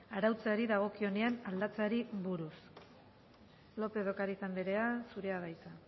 arautzeari dagokionean aldatzeari buruz lópez de ocariz andrea zurea da hitza